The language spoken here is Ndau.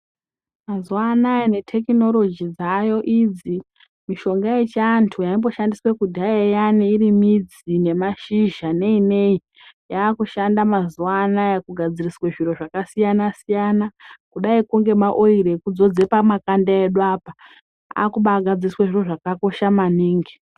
Mazuwa anaya nethekinorotoji dzayo idzi, mishonga yechiantu yaimboshandiswa kudhaya iri midzi nemashizha nei nei, yakushanda mazuwa anaya kugadziriswe zviro zvakasiyana -siyana, kudaikwo ngema oiri ekudzodze pamakanda edu apa, akubagadziriswe zviro zvakakosha maningi.